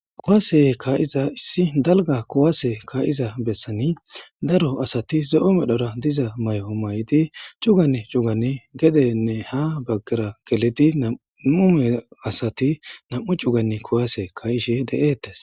kuwase kaayiza issi dalga kuwaase kaayiza bessani daro asati ze7o medhora diza may7o may7idi cugane cugani gedenne ha baggera geledi nam7ume asati nam7u cuganne kuwase ka7ishe de7eettes